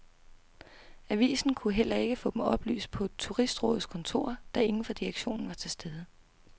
Avisen kunne heller ikke få dem oplyst på turistrådets kontor, da ingen fra direktionen var til stede.